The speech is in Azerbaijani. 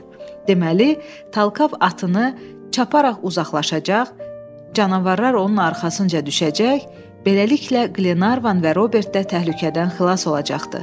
Deməli, Talkav atını çaparaq uzaqlaşacaq, canavarlar onun arxasınca düşəcək, beləliklə Glenarvan və Robert də təhlükədən xilas olacaqdı.